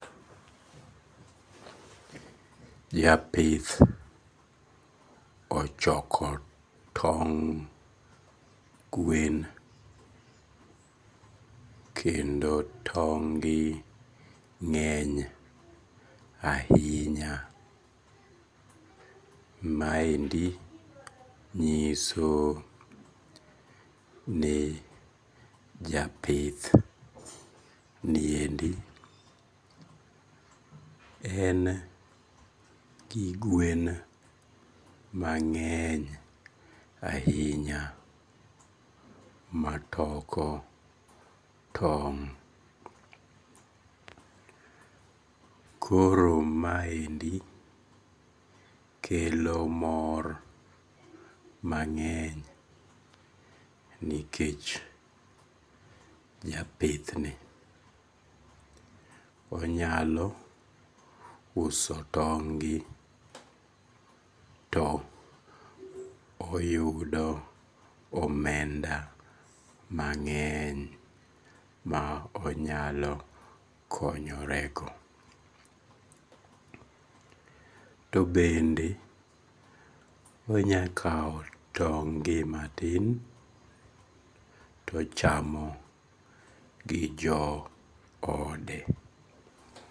Japith ochoko tong' gwen, kendo tong' gi ng'eny ahinya, maendi nyiso ni japithniendi en gi gwen mang'eny ahinya matoko tong' koro maendi kelo mor mang'eny nikech japithni onyalo uso tong' gi to oyudo omenda mang'eny ma onyalo konyorego . To bende onyalo kawo tong' gi to ochamo gi johode